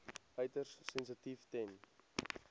uiters sensitief ten